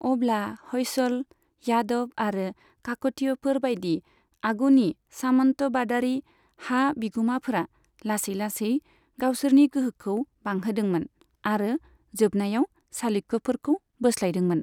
अब्ला ह'यसल, यादव आरो काकतीयफोर बायदि आगुनि सामन्टबादारि हा बिगुमाफोरा लासै लासै गावसोरनि गोहोखौ बांहोदोंमोन आरो जोबनायाव चालुक्यफोरखौ बोस्लायदोंमोन।